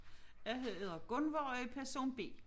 Jeg hedder Gunvor og er person B